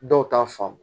Dɔw ta faamu